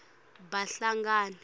bahlangana